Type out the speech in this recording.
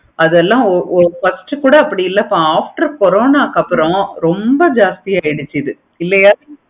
அதெல்லாம் ஒரு பக்கம் first கூட அப்படி இல்லைப்பா after corona க்கு அப்பறம் ரொம்ப ஜாஸ்த்தி ஆகிடுச்சு இல்லையா.